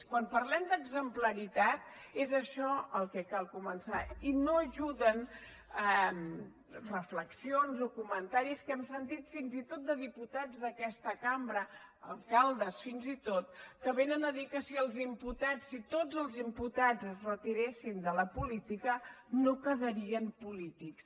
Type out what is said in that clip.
quan parlem d’exemplaritat és això el que cal començar i no hi ajuden a reflexions o comentaris que hem sentit fins i tot de diputats d’aquesta cambra alcaldes fins i tot que vénen a dir que si els imputats si tots els imputats es retiressin de la política no quedarien polítics